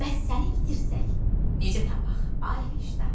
Bəs səni itirsək, necə tapaq, ay vicdan?